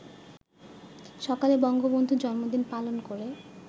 সকালে বঙ্গবন্ধুর জন্মদিন পালন করে